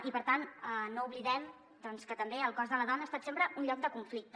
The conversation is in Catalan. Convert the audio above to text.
i per tant no oblidem doncs que també el cos de la dona ha estat sempre un lloc de conflicte